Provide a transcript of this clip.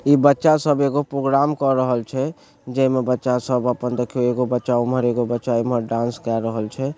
इ बच्चा सब एगो प्रोग्राम के रहल छै जे मे बच्चा सब अपन देखिए एगो बच्चा उमहर एगो बच्चा इमहर डांस कर रहल छै ।